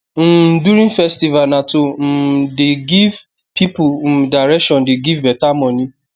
um during festival na to um the give pipul um direction de give beta moni